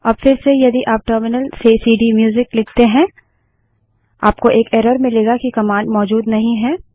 अब फिरसे यदि आप टर्मिनल से सीडीम्यूजिक लिखते हैं आपको एक एरर मिलेगा कि कमांड मौजूद नहीं है